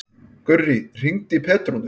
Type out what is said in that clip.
Gurrí, hringdu í Petrúnu.